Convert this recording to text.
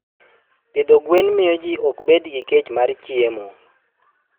Pidho gwen miyo ji ok bed gi kech mar chiemo.